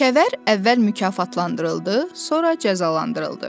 Kəvər əvvəl mükafatlandırıldı, sonra cəzalandırıldı.